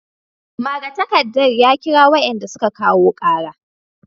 Magatakarda ya kira wayanda suka kawo kara